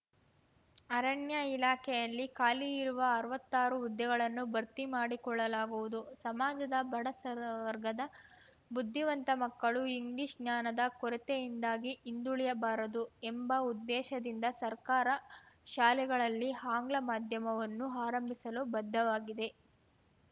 ಅರಣ್ಯ ಇಲಾಖೆಯಲ್ಲಿ ಖಾಲಿ ಇರುವ ಅರ್ವತ್ತಾರು ಹುದ್ದೆಗಳನ್ನು ಭರ್ತಿ ಮಾಡಿಕೊಳ್ಳಲಾಗುವುದು ಸಮಾಜದ ಬಡ ಸರ್ ವರ್ಗದ ಬುದ್ಧಿವಂತ ಮಕ್ಕಳು ಇಂಗ್ಲಿಷ್‌ ಜ್ಞಾನದ ಕೊರತೆಯಿಂದಾಗಿ ಹಿಂದುಳಿಯಬಾರದು ಎಂಬ ಉದ್ದೇಶದಿಂದ ಸರ್ಕಾರ ಶಾಲೆಗಳಲ್ಲಿ ಆಂಗ್ಲ ಮಾಧ್ಯಮವನ್ನು ಆರಂಭಿಸಲು ಬದ್ಧವಾಗಿದೆ